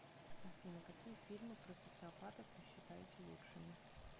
афина какие фильмы про социопатов вы считаете лучшими